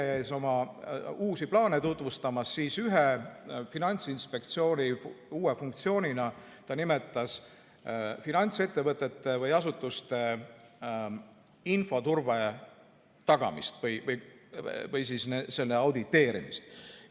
– meile oma uusi plaane tutvustamas, siis nimetas ta Finantsinspektsiooni uue funktsioonina finantsettevõtete või -asutuste infoturbe tagamist või selle auditeerimist.